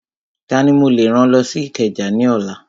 Tani mo lè rán lọ sí Ìkẹjà ní ọ̀la?